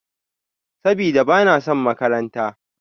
Sabida, ba na son makaranta.